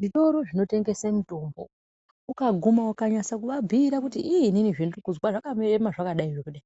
Zvitoro zvinotengesa mitombo ukaguma ukanasa kuvabhuira kuti inini zvandinozwa zvakaema zvakadai zvakadai